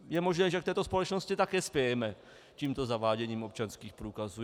Je možné, že k této společnosti také spějeme tímto zaváděním občanských průkazů.